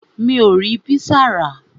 Mi ò rí pizza rà.